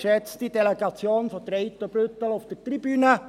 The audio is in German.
Jakob Etter für die BDP.